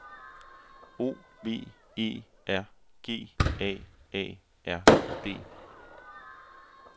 O V E R G A A R D